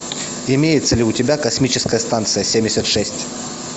имеется ли у тебя космическая станция семьдесят шесть